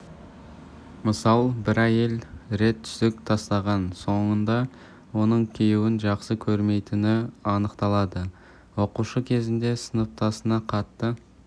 мысал бір әйел рет түсік тастаған соңында оның күйеуін жақсы көрмейтіні анықталды оқушы кезінде сыныптасына қатты